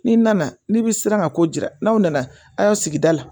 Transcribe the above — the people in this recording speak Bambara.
N'i nana n'i bi siran ka ko jira n'aw nana a sigida la